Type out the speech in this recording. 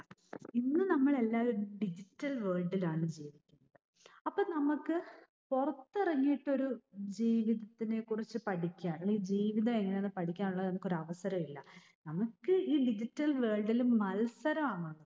ഇന്ന് നമ്മൾ എല്ലാവരും digital world ൽ ആണ് ജീവിക്കുന്നത്. അപ്പോൾ നമുക്ക് പുറത്ത് ഇറങ്ങിയിട്ട് ഒരു ജീവിതത്തിനെക്കുറിച്ച് പഠിക്കാനും ജീവിതം എങ്ങനെയെന്ന് പഠിക്കാനും നമുക്കൊരു അവസരം ഇല്ല. നമുക്ക് ഈ digital world ൽ മത്സരമാണ്.